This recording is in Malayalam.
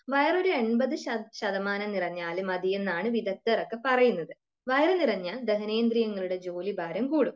വയറൊരു എൺപത് ശതമാനം നിറഞ്ഞാൽ മതിയെന്നാണ് വിദഗ്ധർ ഒക്കെ പറയുന്നത്. വയർ നിറഞ്ഞാൽ ദഹനേന്ദ്രിയങ്ങളുടെ ജോലി ഭാരം കൂടും